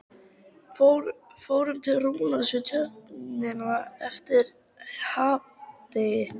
Fórum til Rúnars Við Tjörnina eitt hádegi.